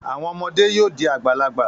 Àwọn ọmọdé yóò di àgbàlagbà.